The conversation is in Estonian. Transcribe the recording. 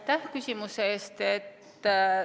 Aitäh küsimuse eest!